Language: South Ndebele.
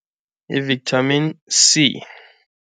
Yi-Vitamin C.